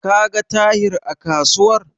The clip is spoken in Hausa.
Ka ga Tahir a kasuwar?